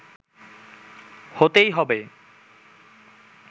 হতেই হবে